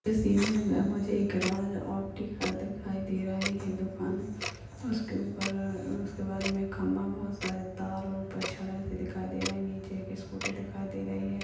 सामने मुझे एक राज ऑप्टिकल दिखाई दे रहा है दुकान और उसके उपर-र उसके बाजूमें एक खंबा बहुत सारे तार और दिखाई दे रही है नीचे एक स्कूटी दिखाई दे रही है।